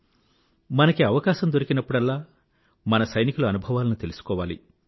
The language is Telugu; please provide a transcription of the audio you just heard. మనకి అవకాశం దొరికినప్పుడల్లా అవసరం లభించినప్పుడల్లా మన సైనికుల అనుభవాలను తెలుసుకోవాలి